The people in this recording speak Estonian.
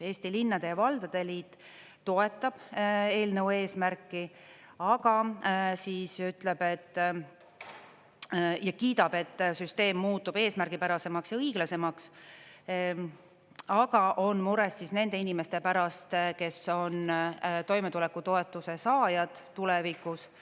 Eesti Linnade ja Valdade Liit toetab eelnõu eesmärki ja kiidab, et süsteem muutub eesmärgipärasemaks ja õiglasemaks, aga on mures nende inimeste pärast, kes on toimetulekutoetuse saajad tulevikus.